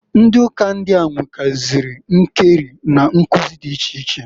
Ndị uka ndịa nwegasịrị nkeri na nkụzị dị iche iche.